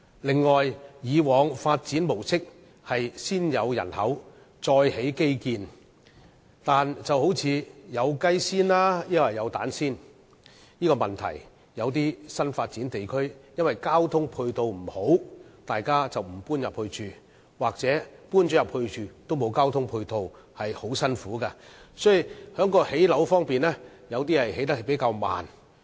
此外，政府以往的發展模式是先有人口，然後才提供基建，但正如"先有雞還是先有蛋"的問題般，一些新發展地區由於交通配套不佳，市民因而不願意遷往居住，又或是在搬進去後卻欠缺交通配套，生活相當辛苦，有些樓宇的興建速度亦因此會較為緩慢。